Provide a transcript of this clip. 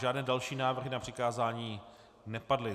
Žádné další návrhy na přikázání nepadly.